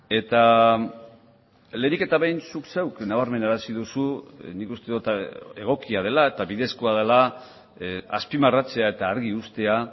eta lehenik eta behin zuk zeuk nabarmenarazi duzu nik uste dut egokia dela eta bidezkoa dela azpimarratzea eta argi uztea